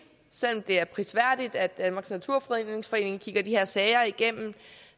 selv om det er prisværdigt at danmarks naturfredningsforening kigger de her sager igennem